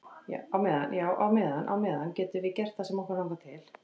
Á meðan, já á meðan á meðan getum við gert það sem okkur langar til.